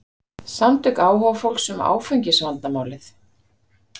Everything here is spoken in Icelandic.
Samtök áhugafólks um áfengisvandamálið